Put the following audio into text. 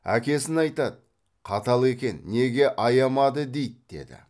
әкесін айтады қатал екен неге аямады дейді деді